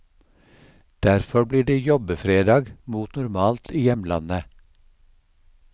Derfor blir det jobbefredag mot normalt i hjemlandet.